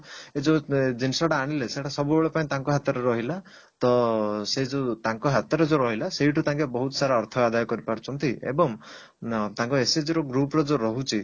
ଏଇ ଯଉ ଜିନିଷ ଟା ଆଣିଲେ ସେଇଟା ସବୁବେଳେ ପାଇଁ ତାଙ୍କ ହାତରେ ରହିଲା ତ ସେ ଯଉ ତାଙ୍କ ହାତରେ ଯଉ ରହିଲା ସେଉଠୁ ତାଙ୍କେ ବହୁତ ସାରା ଅର୍ଥ ଆଦାୟ କରିପାରୁଛନ୍ତି ଏବଂ ଅ ତାଙ୍କ SHG ର group ର ଯଉ ରହୁଛି